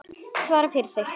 Svara fyrir sig.